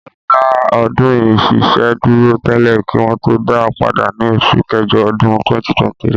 wọ́n fẹ́ dá ọdún ìṣẹ̀ṣe dúró tẹ́lẹ̀ kí wọn tó dáa padà ní oṣù kẹjọ ọdún 2023.